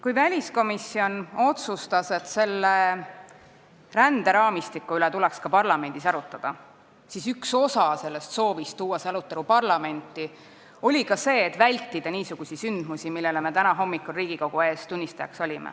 Kui väliskomisjon otsustas, et selle ränderaamistiku üle tuleks ka parlamendis arutleda, siis üks osa sellest soovist tuua see arutelu parlamenti oli ka vältida niisuguseid sündmusi, mille tunnistajaks me täna hommikul Riigikogu ees olime.